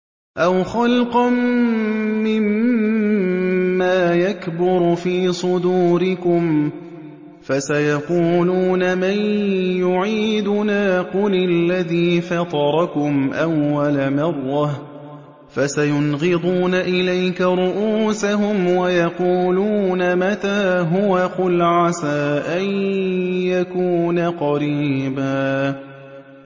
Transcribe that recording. أَوْ خَلْقًا مِّمَّا يَكْبُرُ فِي صُدُورِكُمْ ۚ فَسَيَقُولُونَ مَن يُعِيدُنَا ۖ قُلِ الَّذِي فَطَرَكُمْ أَوَّلَ مَرَّةٍ ۚ فَسَيُنْغِضُونَ إِلَيْكَ رُءُوسَهُمْ وَيَقُولُونَ مَتَىٰ هُوَ ۖ قُلْ عَسَىٰ أَن يَكُونَ قَرِيبًا